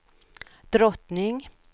drottning